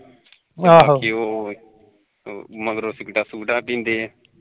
ਮੰਗਰੋ ਸਿਗਟਾ ਸੁਗਟਾ ਪੀਂਦੇ